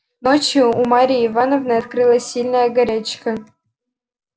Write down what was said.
ночью у марьи ивановны открылась сильная горячка